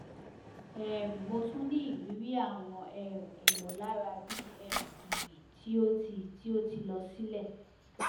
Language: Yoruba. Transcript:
um mo tun ni iriri awọn um imọlara bi um giri ti o ti ti o ti lọ silẹ